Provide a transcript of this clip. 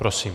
Prosím.